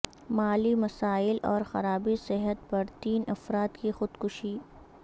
مالی مسائل اور خرابی صحت پر تین افراد کی خودکشی